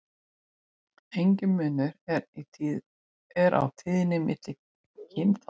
Enginn munur er á tíðni milli kynþátta.